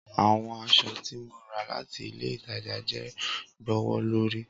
Awọn aṣọ ti mo ra lati ile itaja jẹ gbowolori.